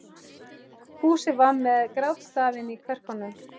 Fúsi var með grátstafinn í kverkunum.